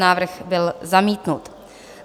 Návrh byl zamítnut.